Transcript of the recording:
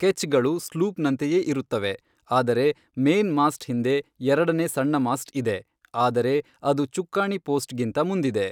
ಕೆಚ್ ಗಳು ಸ್ಲೂಪ್ ನಂತೆಯೇ ಇರುತ್ತವೆ, ಆದರೆ ಮೇನ್ ಮಾಸ್ಟ್ ಹಿಂದೆ ಎರಡನೇ ಸಣ್ಣ ಮಾಸ್ಟ್ ಇದೆ, ಆದರೆ ಅದು ಚುಕ್ಕಾಣಿ ಪೋಸ್ಟ್ ಗಿಂತ ಮುಂದಿದೆ.